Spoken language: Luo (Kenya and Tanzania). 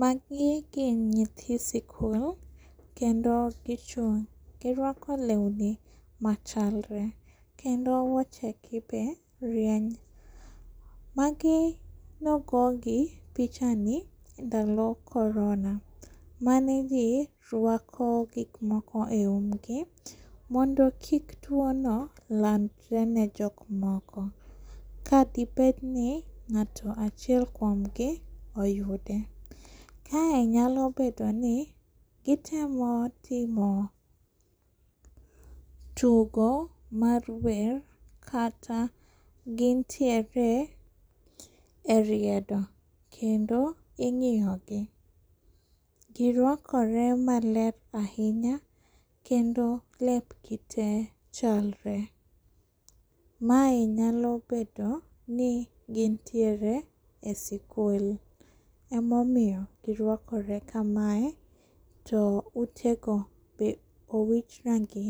Magi gin nyithi sikul kendo gi chung'.Gi rwako lweni machalre kendo wuochegi be rieny magi nogogi pichani e ndalo korona mane ji rwako gik moko eumgi mondo kik tuono landre ne jok moko ka debeni ng'ato achiel kuomgi oyude. Kae nyalo bedoni gitemo timo tugo mar wer kata gintiere eriedo kendo ing'iyogi. Gi rwakore maler ahinya kendo lep gi tee chalre. Mae nyalo bedoni gintiere esikul ema omiyo girwakore kamae to utego be owich rangi